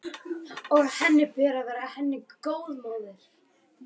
Og að henni ber að vera henni góð móðir.